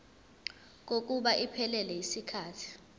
kokuba iphelele yisikhathi